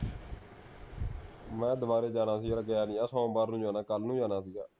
ਮੀਆਂ ਦਵਾਰੇ ਜਾਣਾ ਸੀ ਯਾਰ ਗਿਆ ਨਹੀਂ ਗਾ ਸੋਮਵਾਰ ਨੂੰ ਜਾਣਾ ਕੱਲ ਨੂੰ ਜਾਣਾ ਸੀਗਾ